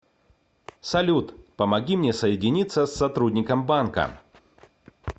салют помоги мне соединиться с сотрудником банка